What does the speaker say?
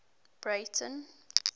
breyten